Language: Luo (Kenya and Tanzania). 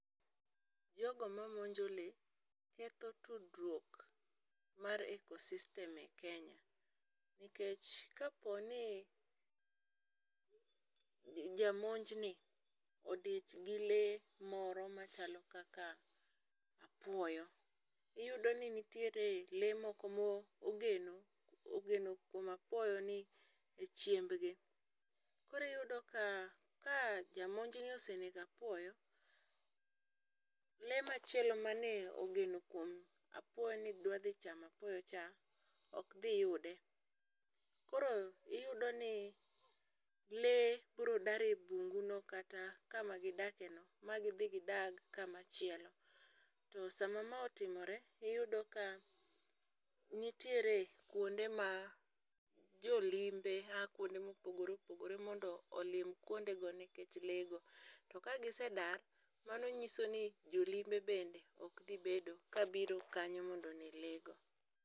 Jogo mamonjo lee keth tudruok mar eco system e Kenya. Nikech kaponi jamonjni odichgi lee moro machalo kaka apuoyo. Iyudoni ni nitiere lee moko mogeno ogeno kuom apuoyoni echiembgi. Koro iyudo ka ka jamonjni osenego apuoyo, lee machielo mane ogeno kuom apuoyo ni dwa dhi chamo apuoyocha ok dhi yude. Koro iyudoni lee biro dar ebunguno kata kama gidakeno magi dhi gidag kama chielo. To sama ma otimore iyudo ka nitiere kuonde ma jolimbe aa kuonde mopogore opogore mondo olim kuondego nikech lee go to ka gisedar mano nyisoni jolimbe bende ok dhi bedo kabiro kanyo mondo one leego.